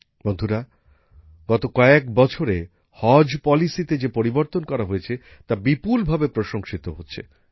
বন্ধুরা গত কয়েক বছরে হজ নীতিতে যে পরিবর্তন করা হয়েছে তা বিপুলভাবে প্রশংসিত হচ্ছে